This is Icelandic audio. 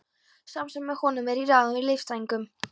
Sá sem með honum er í ráðum er listfræðingur.